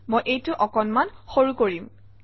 মই এইটো অকণমান সৰু কৰিম